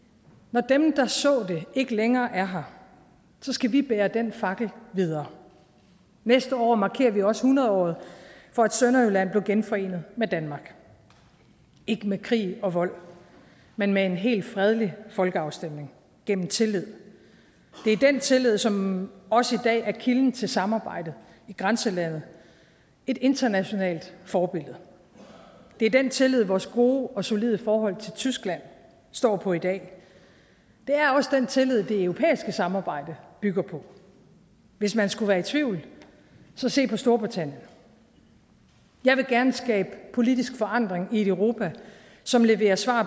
når dem der så det ikke længere er her så skal vi bære den fakkel videre næste år markerer vi også hundredåret for at sønderjylland blev genforenet med danmark ikke med krig og vold men med en helt fredelig folkeafstemning gennem tillid det er den tillid som også i dag er kilden til samarbejdet i grænselandet et internationalt forbillede det er den tillid vores gode og solide forhold til tyskland står på i dag det er også den tillid det europæiske samarbejde bygger på hvis man skulle være i tvivl så se på storbritannien jeg vil gerne skabe politisk forandring i et europa som leverer svar